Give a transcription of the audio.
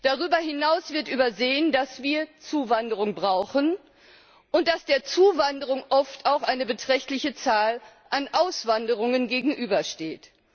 Darüber hinaus wird übersehen, dass wir Zuwanderung brauchen, und dass der Zuwanderung oft auch eine beträchtliche Zahl an Auswanderungen gegenübersteht.